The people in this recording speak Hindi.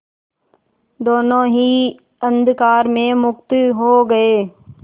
दोेनों ही अंधकार में मुक्त हो गए